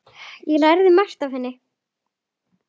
Ég lærði margt af henni.